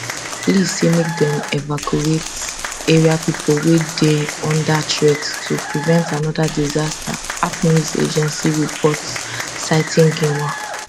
li also say make dem evacuate area pipo wey dey under threat to prevent anoda disaster ap news agency reports citing xinhua